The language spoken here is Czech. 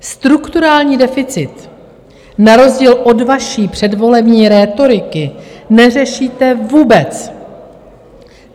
Strukturální deficit na rozdíl od vaší předvolební rétoriky neřešíte vůbec.